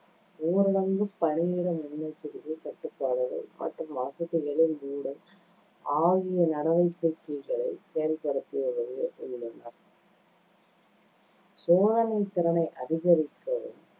ஊரடங்கு, பணியிட முன்னெச்சரிக்கைக் கட்டுப்பாடுகள் மற்றும் வசதிகளை மூடல் ஆகிய நடவடிக்கைகளைச் செயல்படுத்தி சோதனை திறனை அதிகரிக்கவும்